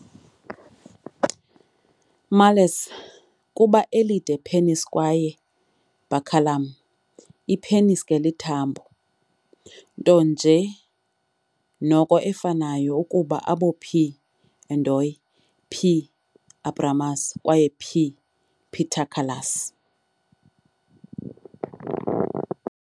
Males kuba elide penis kwaye baculum, i-penis ke lithambo, nto nje noko efanayo ukuba abo "P. endoi", "P. abramus" kwaye "P. paterculus".